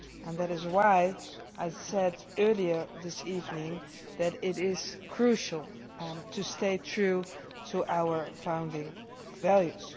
That is why I said earlier this evening that it is crucial to stay true to our founding values.